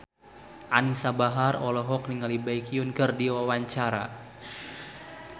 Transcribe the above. Anisa Bahar olohok ningali Baekhyun keur diwawancara